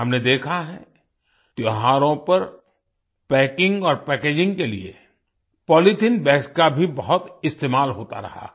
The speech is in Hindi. हमने देखा है त्योहारों पर पैकिंग और पैकेजिंग के लिए पॉलीथीन बैग्स का भी बहुत इस्तेमाल होता रहा है